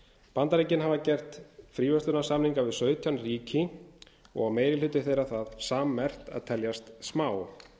bandaríkin hafa gert fríverslunarsamninga við sautján ríki og á meiri hluti þeirra það sammerkt að teljast smá